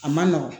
A man nɔgɔn